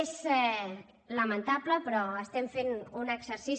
és lamentable però estem fent un exercici